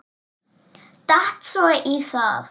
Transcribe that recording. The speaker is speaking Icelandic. Datt svo í það.